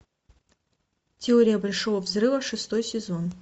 теория большого взрыва шестой сезон